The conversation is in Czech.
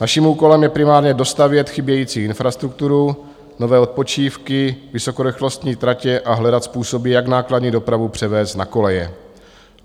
Naším úkolem je primárně dostavět chybějící infrastrukturu, nové odpočívky, vysokorychlostní tratě a hledat způsoby, jak nákladní dopravu převést na koleje.